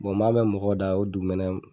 Bon n b'a mɛn mɔgɔw da ko dugumɛnɛw